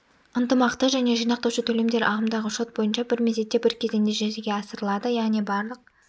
ынтымақты және жинақтаушы төлемдер ағымдағы шот бойынша бір мезетте бір кезеңде жүзеге асырылады яғни барлық